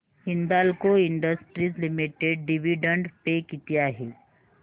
Hindalco Industries Limited dividend pay किती आहे